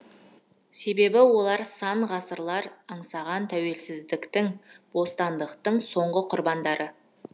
себебі олар сан ғасырлар аңсаған тәуелсіздіктің бостандықтың соңғы құрбандары